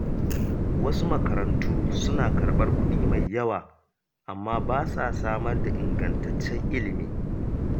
Wasu makarantu suna karɓar kuɗi mai yawa amma ba sa samar da ingantaccen ilimi.